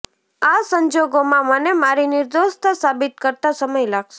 આ સંજોગોમાં મને મારી નિર્દોષતા સાબિત કરતાં સમય લાગશે